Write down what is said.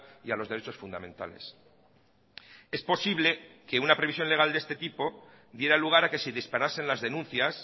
y a los derechos fundamentales es posible que una previsión legal de este tipo diera lugar a que se disparasen las denuncias